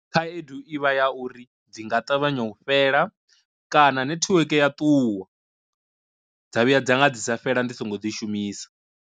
Khaedu ivha ya uri dzi nga ṱavhanya u fhela kana netiweke ya ṱuwa, dza vhuya dza nga dzi sa fhela ndi songo dzi shumisa.